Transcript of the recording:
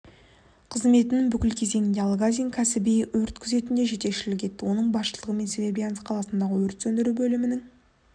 қызметінің бүкіл кезеңінде алгазин кәсіби өрт күзетіне жетекшілік етті оның басшылығымен серебрянск қаласындағы өрт сөндіру бөлімінің